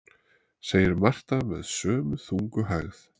segir Marta með sömu þungu hægð.